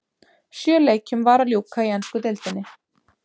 Sjö leikjum var að ljúka í ensku deildinni.